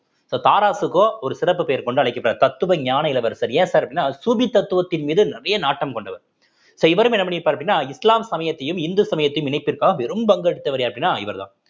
இப்ப தாராஷிகோ ஒரு சிறப்பு பெயர் கொண்டு அழைக்கப்படுகிறார் தத்துவஞான இளவரசர் ஏன் sir அப்படின்னா சுபி தத்துவத்தின் மீது நிறைய நாட்டம் கொண்டவர் so இவரும் என்ன பண்ணிருப்பார் அப்படின்னா இஸ்லாம் சமயத்தையும் இந்து சமயத்தையும் இணைப்பிற்காக பெறும் பங்கெடுத்தவர் யார் அப்படின்னா இவர்தான்